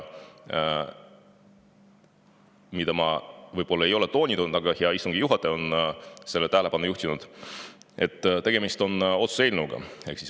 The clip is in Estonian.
Ma võib-olla ei ole seda toonitanud, aga hea istungi juhataja on sellele tähelepanu juhtinud, et tegemist on otsuse eelnõuga.